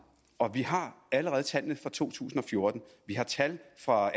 og vi har allerede tallene for to tusind og fjorten vi har tal for